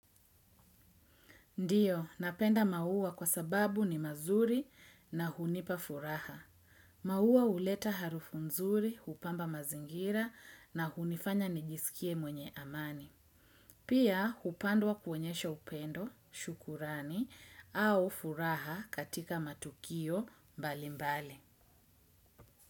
Ndiyo, napenda maua kwa sababu ni mazuri na hunipa furaha. Maua huleta harufu nzuri, hupamba mazingira na hunifanya nijisikie mwenye amani. Pia, hupandwa kuoenyesha upendo, shukurani, au furaha, katika matukio mbalimbali.